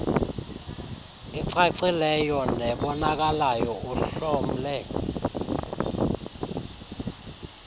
icacileyo nebonakalayo uhlomle